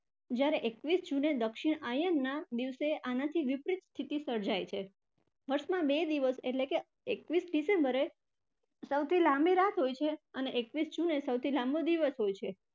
જયારે એકવીસ june એ દક્ષિણ આયનના દિવસે આનાથી વિપરીત સ્થિતિ સર્જાય છે. વર્ષમાં બે દિવસ એટલે કે એકવીસ december એ સૌથી લાંબી રાત હોય છે અને એકવીસ june એ સૌથી લાંબો દિવસ હોય છે.